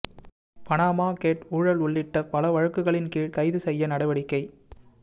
Panama gate ஊழல் உள்ளிட்ட பல வழக்குகளின் கீழ் கைது செய்ய நடவடிக்கை